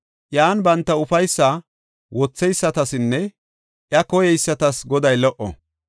Iyan banta ufaysa wotheysatasinne iya koyeysatas Goday lo77o.